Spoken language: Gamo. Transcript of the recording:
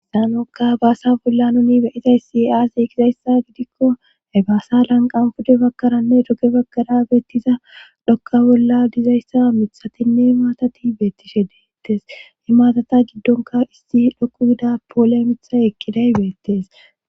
Saanokka baasa bolla nuni beyizay sia7aazi kizayssa gidikko he baasa lanqan pude bagkaranne doge baggara beettiza dhokka bolla dizayssa mithatinne maatati beettishe deettes i maatata giddonka isti dhoku gida poole mitha ekkiday beettes.